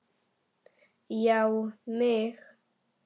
Já mig!